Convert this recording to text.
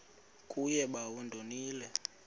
kuye bawo ndonile